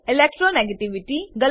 electronegativity 2